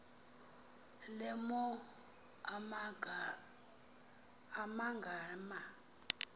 le mo amagama